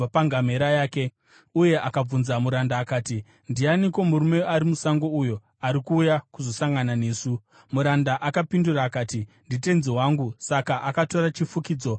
uye akabvunza muranda akati, “Ndianiko murume ari musango uyo ari kuuya kuzosangana nesu?” Muranda akapindura akati, “Nditenzi wangu.” Saka akatora chifukidzo akazvifukidza.